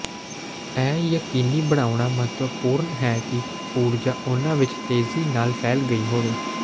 ਇਹ ਯਕੀਨੀ ਬਣਾਉਣਾ ਮਹੱਤਵਪੂਰਣ ਹੈ ਕਿ ਊਰਜਾ ਉਹਨਾਂ ਵਿੱਚ ਤੇਜ਼ੀ ਨਾਲ ਫੈਲ ਗਈ ਹੋਵੇ